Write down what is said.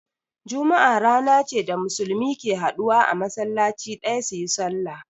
Juma'a rana ce da Musulmi ke haduwa a masallaci ɗaya su yi sallah.